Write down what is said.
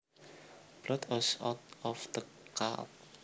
Blood oozed out of the cut